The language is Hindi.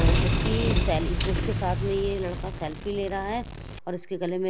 अ उसकी सेल उसके साथ में ये लड़का सैल्फी ले रहा है और उसके गले में--